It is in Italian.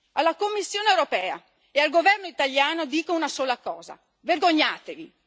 Alla Commissione europea e al governo italiano dico una sola cosa vergognatevi!